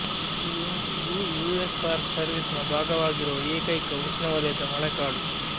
L Yunque US park ಸರ್ವಿಸ್ನ ಭಾಗವಾಗಿರುವ ಏಕೈಕ ಉಷ್ಣವಲಯದ ಮಳೆಕಾಡು